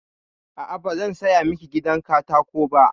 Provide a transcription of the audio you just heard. A'a, ba zan saya miki gidan katako ba.